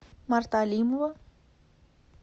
марта алимова